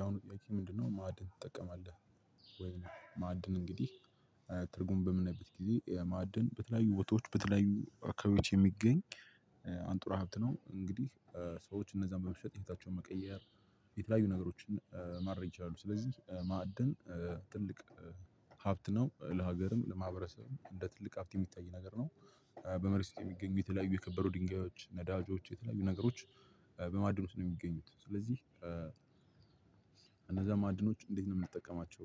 ያው እኔ ምንድነው ማዕድን ትጠቀማለህ? ወይ ማዕድን እንግዲህ ትርጉም በምናይበት ጊዜ ያ ማዕድን በተለያዩ ቦታዎች በተለያዩ አካባቢዎች የምገኝ አንጡራ ሀብት ነው። እንግዲህ ሰዎች እነዛን በመሸጥ ህይወታቸው መቀየር የተለያዩ ነገሮችን ማድረግ ይችላሉ። ስለዚህ በማዕድን ትልቅ ሀብት ነው። ለሀገርም ለማህብረሰብም እንደትልቅ ሀብት የምታይ ነገር ነው። በመሬት ውስጥ የሚገኙ የተለያዩ የከበሩ ድንጋዮች ነዳጆች የተለያዩ ነገሮች በማዕድን ውስጥ ነው የሚገኙት። ስለዚህ እነዛ ማዕድኖች እንዴት ነው የምንጠቀማቸው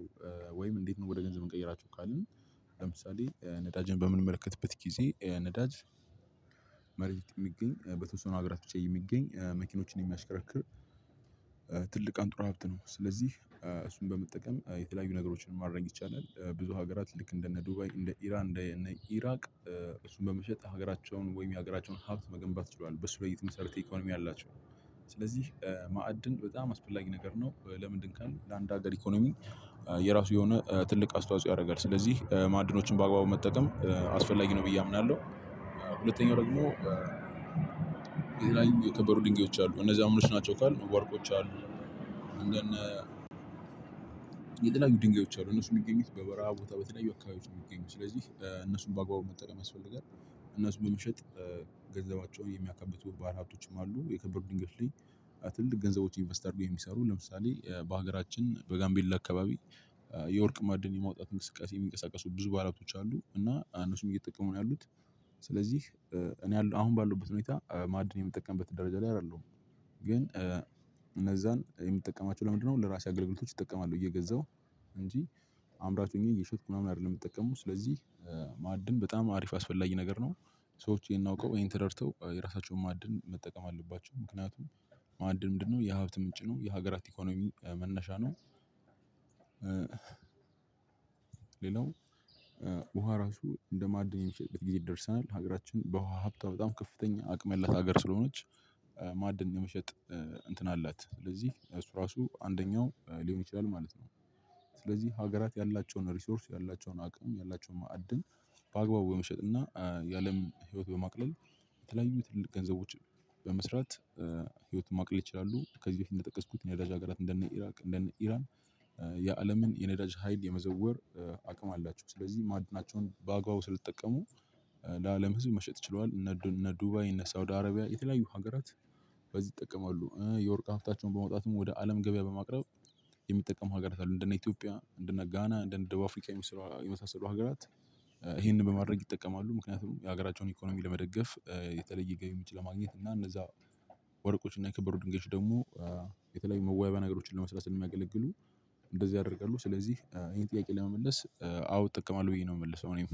ወይም እንዴት ነው ወደ ገንዘብ እንቀይራቸው ካልን? ለምሳሌ ነዳጅን በምንመለከትበት ጊዜ ነዳጅ መሬት የሚገኝ በተወሰኑ አገራት ብቻ የሚገኝ መኪኖችን የሚያሽከረክር አንጥሮ ሀብት ነው። ስለዚህ እሱን በመጠቀም የተለያዩ ነገሮችን ማረግ ይቻላል ብዙ ሀገራት ልክ እንደነ ዱባይ እንደ ኢራን እንደነ ኢራቅ። እሱን በመሸጥ ሀገራቸውን ወይም የሀገራቸውን ሀብት መገንባት ችሏል በሱ ላይ የተመሰረተ ኢኮኖሚ አላቸው። ስለዚህ ማዕድን በጣም አስፈላጊ ነገር ነው። ለምንድነው ካልን ለአንድ ሀገር ኢኮኖሚ የራሱ የሆነ ትልቅ አስተዋጽኦ ያደርጋል ስለዚህ ማዕድኖችን በአግባቡ መጠቀም አስፈላጊ ነው ብዬ አምናለሁ። ሁለተኛው ደግሞ የከበሩ ድንጋዮች አሉ እነዚህ ምኖች ናቸው ካልን ወርቆች አሉ። የተለያዩ ድንጋዮች አሉ እነሱ የሚገኙት በበረሃ ቦታ በተለያዩ አካባቢዎች ነው የሚገኙት ስለዚህ እነሱን በአግባቡ መጠቀም ያስፈልጋል። እነሱን በምሸጥ ገንዘባቸውን የሚያከብቱ ባላሀብቶችም አሉ። የከበሩ ድንጋዮች ግን ትልቅ ገንዘቦች ኢንቨስተርድ የሚሰሩ ለምሳሌ በሀገራችን በጋምቤላ አካባቢ የወርቅ ማዕድን የማውጣት እንቅስቃሴ የሚንቀሳቀሱ ብዙ ባላቶች አሉ እና እነሱም እየጠቀሙ ነው ያሉት። ስለዚህ እኔ ያለው አሁን ባለሁበት ደረጃ ማዕድን የምጠቀምበት ደረጃ ላይ አይደለሁም። ግን እነዛን የምጠቀማቸው ለምንድነው ለእራሴ አገልግሎት እጠቀማለው እየገዛው እንጂ አምራች ሆኘ እየሸጥኩ ምናምን አይደለም የሚጠቀመው። ስለዚህ ማዕድን በጣም አሪፍ ያስፈላጊ ነገር ነው። ሰዎች ይህን አውቀው ይሄን ተደርተው የራሳቸውን ማዕድን መጠቀም አለባቸው ምክንያቱም ማዕድን ምንድነው የሀብት ምንጭ ነው የሀገራት ኢኮኖሚ መነሻ ነው። ሌላው ውሃ ራሱ እንደማዕድን የሚሸጥበት ጊዜ ይደርሰናል ሀገራችን በውሃ ሀብታም በጣም ከፍተኛ አቅም ያላት ሀገር ስለሆነች ማዕድን የመሸጥ እንትን አላት ስለዚህ እሱ ራሱ አንደኛው ሊሆን ይችላል ማለት ነው። ስለዚህ ሀገራት ያላቸውን ሪሶርስ ያላቸውን አቅም ያላቸውን ማዕድን በአግባቡ በመሸጥና የአለም ህይወት በማቅለል የተለያዩ ትልቅ ገንዘቦች በመስራት ህይወትን ማቅለል ይችላሉ። ከዚህ በፊት እንደጠቀስኩት የነዳጅ ሀገራት እንደነ ኢራቅ እንደነ ኢራን። የአለምን የነዳጅ ሀይል የመዘወር አቅም አላቸው። ስለዚህ ማዕድናቸውን በአግባቡ ስለተጠቀሙ ለአለም ህዝብ መሸጥ ችለዋል። እነ እነ ዱባይ እነ ሳውዲ አረቢያ የተለያዩ ሀገራት በዚህ ይጠቀማሉ የወርቅ ሀፍታቸውን በመውጣትም ወደ አለም ገበያ በማቅረብ የሚጠቀሙ ሀገራት አሉ። እንደነ ኢትዮጵያ እንደነ ጋና እንደ እንደ አፍሪካ የመሳሰሉ ሀገራት ይህንን በማድረግ ይጠቀማሉ። ምክንያቱም የሀገራቸውን ኢኮኖሚ ለመደገፍ የተለየ ገቢ መግቢያ ማግኘት እና እነዛ ወርቆችን እና የከበሩ ድንገት ደግሞ የተለያዩ መዋቢያ ነገሮችን ለመስራት የሚያገልግሉ እንደዚህ አደርጋለሁ ስለዚህ ይሄን ጥያቄ ለመመለስ አዎ እጠቀማለሁኝ ብዬ ነው የምልሰው። እኔም